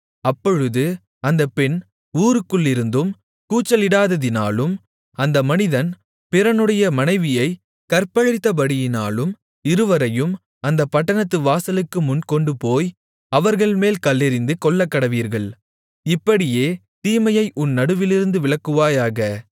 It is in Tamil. அப்பொழுது அந்தப் பெண் ஊருக்குள்ளிருந்தும் கூச்சலிடாததினாலும் அந்த மனிதன் பிறனுடைய மனைவியைக் கற்பழித்தபடியினாலும் இருவரையும் அந்தப் பட்டணத்து வாசலுக்குமுன் கொண்டுபோய் அவர்கள்மேல் கல்லெறிந்து கொல்லக்கடவீர்கள் இப்படியே தீமையை உன் நடுவிலிருந்து விலக்குவாயாக